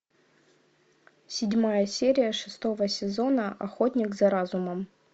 седьмая серия шестого сезона охотник за разумом